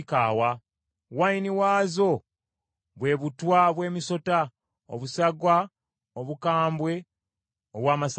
wayini waazo bwe butwa bw’emisota obusagwa obukambwe obw’amasalambwa.